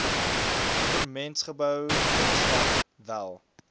goewermentsgebou binnestap wel